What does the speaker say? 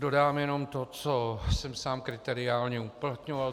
Dodám jenom to, co jsem sám kriteriálně uplatňoval.